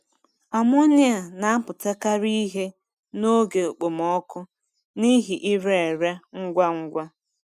Amonia na-apụtakarị ihe n’oge okpomọkụ n'ihi ire ere ngwa ngwa.